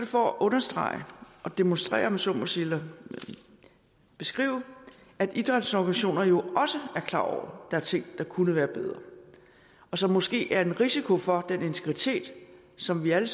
for at understrege og demonstrere om jeg så må sige eller beskrive at idrætsorganisationer jo også er klar over der er ting der kunne være bedre og som måske er en risiko for den integritet som vi alle